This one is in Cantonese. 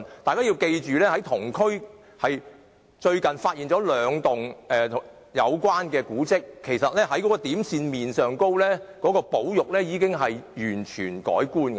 大家別忘記，同區最近發現兩幢相關古蹟，其實從點線面而言，保育工作應該已完全不同。